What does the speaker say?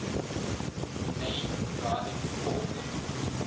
main driving force